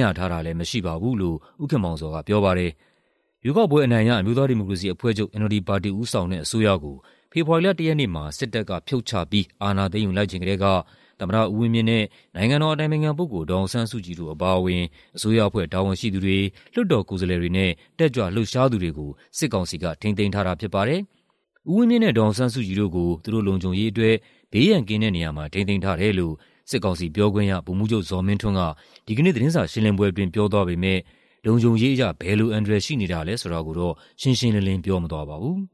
ရထားတာလည်းမရှိပါဘူး။" လို့ ဦးခင်မောင်ဇော်ကပြောပါတယ်။ ရွေးကောက်ပွဲအနိုင်ရ အမျိုးသားဒီမိုကရေစီအဖွဲ့ချုပ် ပါတီဦးဆောင်တဲ့ အစိုးရကို ဖေဖော်ဝါရီလ ၁ ရက်နေ့မှာ စစ်တပ်ကဖြုတ်ချပြီး အာဏာသိမ်းယူလိုက်ချိန်ကတည်းက သမ္မတဦးဝင်းမြင့်နဲ့ နိုင်ငံတော်အတိုင်ပင်ခံပုဂ္ဂိလ် ဒေါ်အောင်ဆန်းစုကြည်တို့ အပါအဝင်၊ အစိုးရအဖွဲ့တာဝန်ရှိသူတွေ၊ လွှတ်တော်ကိုယ်စားလှယ်တွေနဲ့ တက်ကြွလှုပ်ရှားသူတွေကို စစ်ကောင်စီက ထိန်းသိမ်းထားတာဖြစ်ပါတယ်။ ဦးဝင်းမြင့်နဲ့ ဒေါ်အောင်ဆန်းစုကြည်တို့ကို သူတို့လုံခြုံရေးအတွက် ဘေးရန်ကင်းတဲ့နေရာမှာ ထိန်းသိမ်းထားတယ်လို့ စစ်ကောင်စီပြောခွင့်ရ ဗိုလ်မှူးချုပ်ဇော်မင်းထွန်းက ဒီကနေ့ သတင်းစာရှင်းလင်းပွဲအတွင်း ပြောသွားပေမဲ့ လုံခြုံရေးအရ ဘယ်လိုအန္တရာယ်ရှိနေတာလည်းဆိုတာကိုတော့ ရှင်းရှင်းလင်းလင်း ပြောမသွားပါဘူး။